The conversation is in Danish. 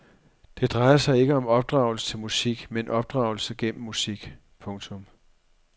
Det drejer sig ikke om opdragelse til musik men opdragelse gennem musik. punktum